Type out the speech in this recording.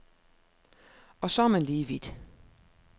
Og så er man lige vidt.